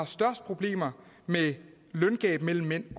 største problemer med løngab mellem mænd